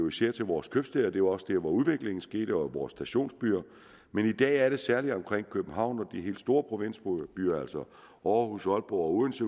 især til vores købstæder og det var også der hvor udviklingen skete med vores stationsbyer men i dag er det særlig omkring københavn og de helt store provinsbyer som aarhus aalborg og odense